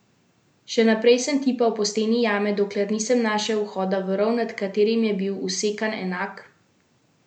Še naprej sem tipal po steni jame, dokler nisem našel vhoda v rov, nad katerim je bil vsekan enak simbol.